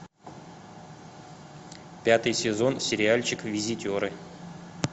пятый сезон сериальчик визитеры